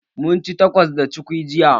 Munci takos da cukwi jiya